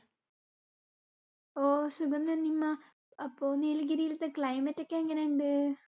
ഓ സുഖം തന്നെ നിമാ. അപ്പൊ നീലഗിരിൽതെ climate ഒക്കെ എങ്ങിനെ ഇണ്ട്?